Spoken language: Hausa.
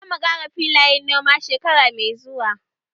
Zamu ƙara filayen noma shekara mai zuwa